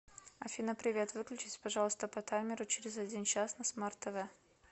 афина привет выключись пожалуйста по таймеру через один час на смарт тв